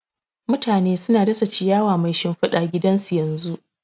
Mutane suna dasa ciyawa mai shimfida gidan su yanzu